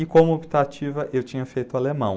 E como optativa, eu tinha feito alemão.